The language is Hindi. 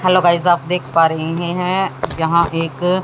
हेलो गाइज आप देख पा रहे हैं यहां एक--